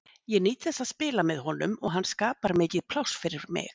Ég nýt þess að spila með honum og hann skapar mikið pláss fyrir mig.